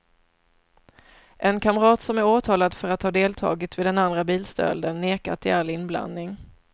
En kamrat som är åtalad för att ha deltagit vid den andra bilstölden nekar till all inblandning.